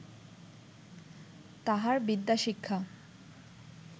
তাহার বিদ্যা শিক্ষা